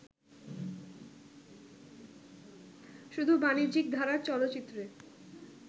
শুধু বাণিজ্যিক ধারার চলচ্চিত্রে